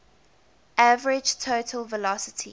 average total velocity